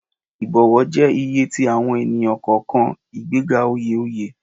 Ibọwọ jẹwọ iye ti awọn ẹni-kọọkan, igbega oye oye